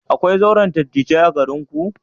Akwai zauren dattijai a garinku?